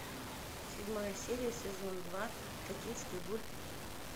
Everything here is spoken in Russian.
седьмая серия сезон два токийский гуль